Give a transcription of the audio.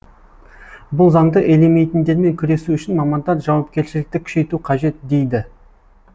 бұл заңды елемейтіндермен күресу үшін мамандар жауапкершілікті күшейту қажет дейді